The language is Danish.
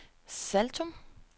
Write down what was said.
Saltum